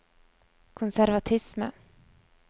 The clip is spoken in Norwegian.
konservatisme